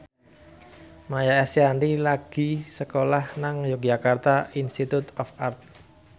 Maia Estianty lagi sekolah nang Yogyakarta Institute of Art